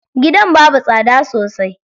Gidan babu tsada sosai.